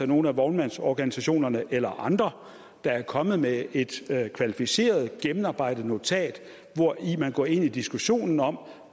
nogen af vognmandsorganisationerne eller andre der er kommet med et kvalificeret gennemarbejdet notat hvori man går ind i diskussionen om